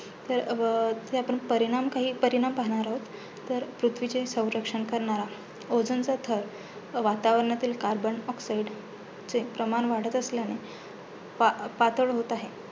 अं जे आपण प परिणाम काही परिणाम पाहणार आहोत, तर पृथ्वीचे संरक्षण करणारा ozone चा थर वातावरणातील carbon oxide चे प्रमाण वाढत असल्याने पा पातळ होत आहे.